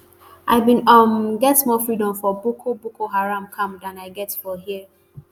i bin um get more freedom for boko boko haram camp dan i get for here